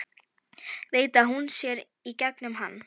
Veit að hún sér í gegnum hann.